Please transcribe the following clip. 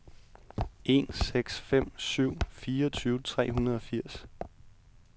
en seks fem syv fireogtyve tre hundrede og firs